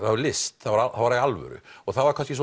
list það var alvöru og það var kannski